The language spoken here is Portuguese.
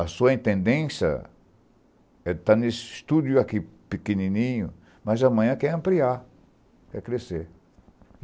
A sua entendência está nesse estúdio pequenininho, mas amanhã quer ampliar, quer crescer.